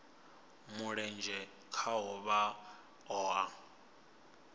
mulenzhe khaho vha o a